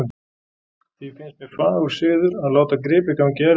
Því finnst mér fagur siður að láta gripi ganga í erfðir.